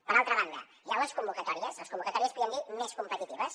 per altra banda hi han les convocatòries les convocatòries en podríem dir més competitives